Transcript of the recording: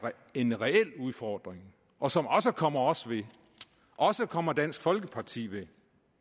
en reel udfordring og som også kommer os ved også kommer dansk folkeparti ved